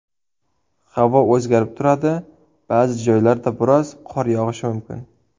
Havo o‘zgarib turadi, ba’zi joylarda biroz qor yog‘ishi mumkin.